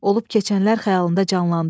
Olub keçənlər xəyalında canlandı.